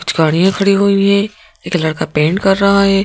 कुछ गाड़ियां खड़ी हुई हैं एक लड़का पेंट कर रहा है।